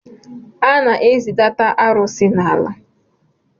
A na-ezidata arụsị n’ala